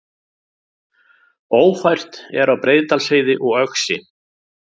Ófært er á Breiðdalsheiði og Öxi